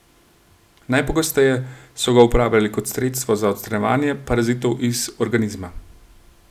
Najpogosteje so ga uporabljali kot sredstvo za odstranjevanje parazitov iz organizma.